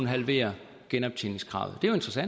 halvere genoptjeningskravet